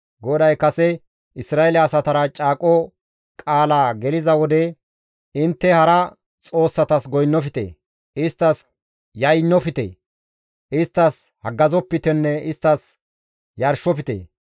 GODAY kase Isra7eele asatara caaqo qaala geliza wode, «Intte hara xoossatas goynnofte, isttas yaynnofte; isttas haggazopitenne isttas yarshofte.